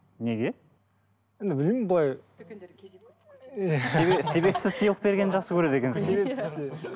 неге енді білмеймін былай себепсіз сыйлық бергенді жақсы көреді екенсіз ғой себепсіз иә